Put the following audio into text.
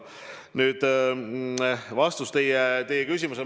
Nüüd vastus teie küsimusele.